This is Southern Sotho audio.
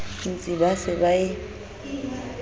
ntsi ba se ba e